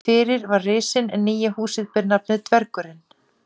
Fyrir var Risinn en nýja húsið ber nafnið Dvergurinn.